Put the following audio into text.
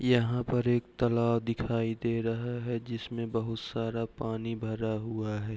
यहाँ पर एक तलाब दिखाई दे रहा है जिसमे बहुत सारा पानी भरा हुआ है।